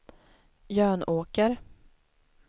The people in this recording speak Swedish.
Jönåker